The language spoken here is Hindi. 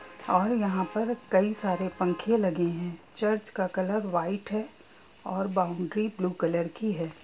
और यहां पर कई सारे पंखे लगे है चर्च का कलर व्हाइट है और बाउंड्री ब्लू कलर की है ।